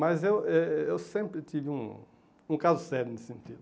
Mas eu eh eh eu sempre tive um um caso sério nesse sentido.